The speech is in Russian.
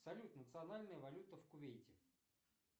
салют национальная валюта в кувейте